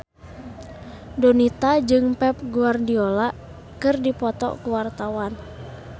Donita jeung Pep Guardiola keur dipoto ku wartawan